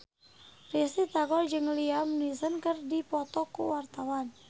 Risty Tagor jeung Liam Neeson keur dipoto ku wartawan